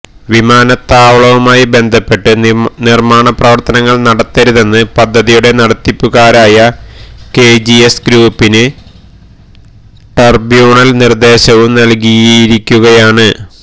വിമാനത്താവളവുമായി ബന്ധപ്പെട്ട് നിര്മാണപ്രവര്ത്തനങ്ങള് നടത്തരുതെന്ന് പദ്ധതിയുടെ നടത്തിപ്പുകാരായ കെജിഎസ് ഗ്രൂപ്പിന് െ്രെടബ്യൂണല് നിര്ദേശവും നല്കിയിരിക്കുകയാണ്